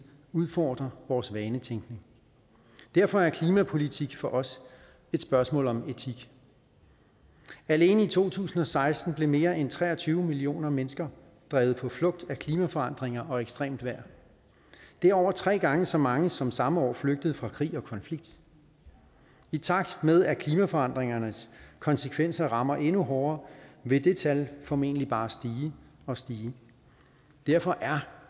udfordre vores vanetænkning derfor er klimapolitik for os et spørgsmål om etik alene i to tusind og seksten blev mere end tre og tyve millioner mennesker drevet på flugt af klimaforandringer og ekstremt vejr det er over tre gange så mange som samme år flygtede fra krig og konflikt i takt med at klimaforandringernes konsekvenser rammer endnu hårdere vil det tal formentlig bare stige og stige derfor er